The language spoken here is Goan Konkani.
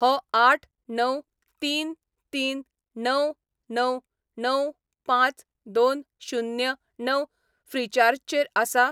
हो आठ णव तीन तीन णव णव णव पांच दोन शुन्य णव ऴ्रीचार्ज चेर आसा?